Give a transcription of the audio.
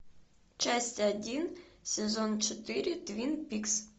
часть один сезон четыре твин пикс